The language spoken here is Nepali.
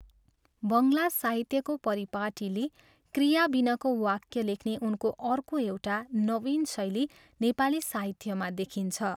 बङ्गला साहित्यको परिपाटीलिई क्रियाबिनाको वाक्य लेख्ने उनको अर्को एउटा नवीन शैली नेपाली साहित्यमा देखिन्छ।